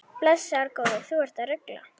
Blessaður góði, þú ert að rugla!